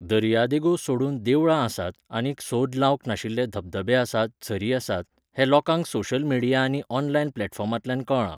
दर्यादेगो सोडून देवळां आसात आनीक सोद लावंक नाशिल्ले धबधबे आसात झरी आसात, हें लोकांक सोशल मिडिया आनी ऑनलायन प्लॅटफॉर्मांतल्यान कळ्ळां.